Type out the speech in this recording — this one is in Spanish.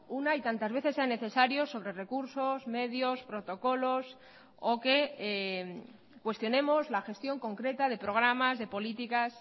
una y tantas veces sea necesario sobre recursos medios protocolos o que cuestionemos la gestión concreta de programas de políticas